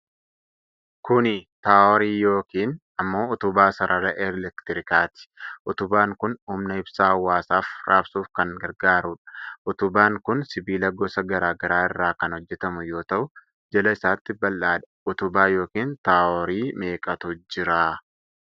Kuni Taaworii yookiin ammoo utubaa sarara elektirikaati. Utubaan kun humna ibsaa hawwaasaaf raabsuuf kan gargaarudha. Utubaan kun sibiila gosa garaa garaa irraa kan hojjatamu yoo ta'u jala isaatti bal'aadha. Utubaa yookiin taaworii meeqatu jira?